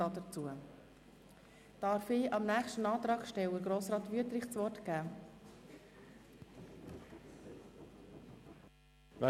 Darf ich dem nächsten Antragsteller, Grossrat Wüthrich, das Wort erteilen?